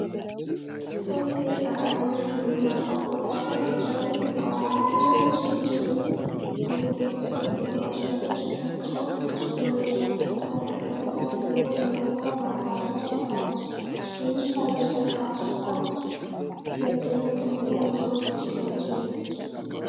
ሶስት ሴት ሰራተኞች በግንባታ ቦታ ላይ ሲሰሩ ይስተዋላሉ። ሁለቱ የሲሚንቶ ብሎኬቶችን ጀርባቸው ላይ ተሸክመው ወደ ያልተጠናቀቀ ህንፃ ሲገቡ፣ ሌላኛዋ በአቅራቢያ ትሰራለች። የሚታየው ጠንካራ ስራ መደነቅን እና የኑሮ ጭንቀትን ይገልጻል።